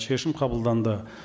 шешім қабылданды